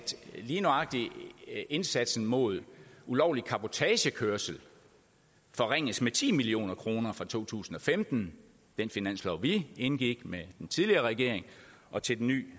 lige nøjagtig indsatsen mod ulovlig cabotagekørsel forringes med ti million kroner fra to tusind og femten den finanslov vi indgik med den tidligere regering og til den nye